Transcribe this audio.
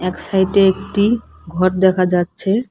এক সাইড -এ একটি ঘর দেখা যাচ্ছে।